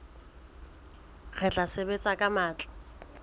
re tla sebetsa ka matla